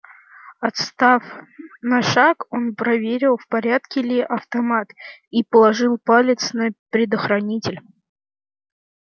отстав на шаг он проверил в порядке ли автомат и положил палец на предохранитель